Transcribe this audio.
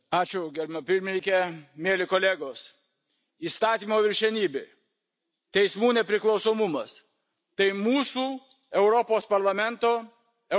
Mieli kolegos, įstatymo viršenybė, teismų nepriklausomumas tai mūsų Europos Parlamento, Europos Sąjungos vertybės.